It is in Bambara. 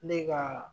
Ne ka